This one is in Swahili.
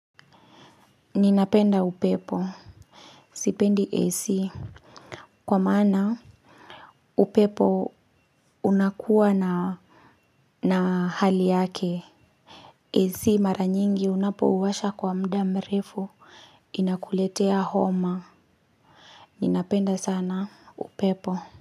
Ninapenda upepo sipendi AC kwa maana upepo unakuwa na na hali yake AC mara nyingi unapowasha kwa muda mrefu inakuletea homa. Ninapenda sana upepo.